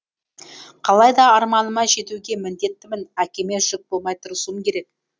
қалайда арманыма жетуге міндеттімін әкеме жүк болмай тырысуым керек